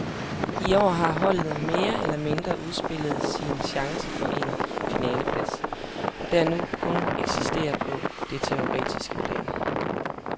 I år har holdet mere eller mindre udspillet sin chance for en finaleplads, der nu kun eksistere på det teoretiske plan.